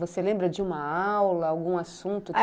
Você lembra de uma aula, algum assunto?